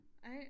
Ej